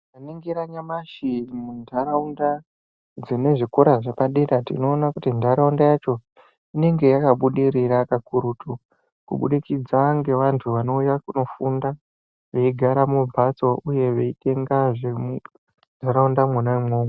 Tikaningira nyamashi muntaraunda, dzine zvikora zvepadera tinoona kuti ntaraunda yacho, inenge yakabudirira kakurutu, kubudikidza ngevantu vanouya kunofunda, veigara mumphatso uyehe veitenga zvihe muntaraunda mwona imwomwo.